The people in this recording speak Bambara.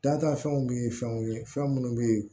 Data fɛnw be ye fɛnw ye fɛn munnu be ye